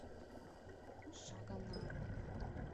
шагонару